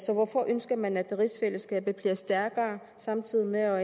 så hvorfor ønsker man at rigsfællesskabet bliver stærkere samtidig med at